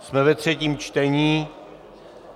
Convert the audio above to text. Jsme ve třetím čtení.